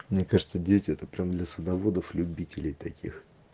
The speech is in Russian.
мне кажется дети это прям для садоводов-любителей таких